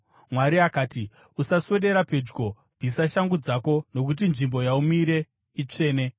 Mwari akati, “Usaswedera pedyo. Bvisa shangu dzako nokuti nzvimbo yaumire itsvene.”